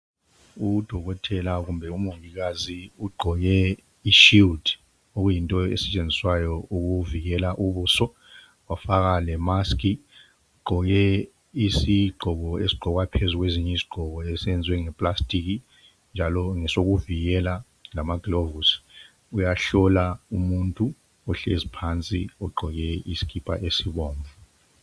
UDokotela kumbe umongikazi ugqoke i-shield okuyinto esetshenziswayo ukuvikela ubuso wafaka le mask. Ugqoke isigqoko esigqokwa phezulu kwezinye izigqoko esenziwe ngeplastiki njalo ngesokuvikela lamaglovisi. Uyahlola umuntu ohlezi phansi ogqoke isikipa esibomvu.